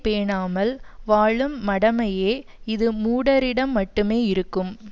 பேணாமல் வாழும் மடமையே இது மூடரிடம் மட்டுமே இருக்கும்